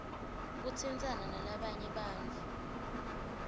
kutsintsana nalabanye bantfu